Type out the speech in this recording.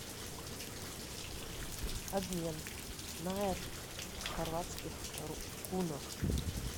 обмен найр в хорватских кунах